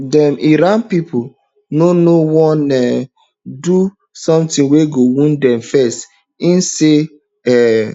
dem iran pipu no know wan um do sometin wey go wound dem first im say um